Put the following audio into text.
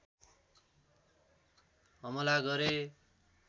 हमला गरे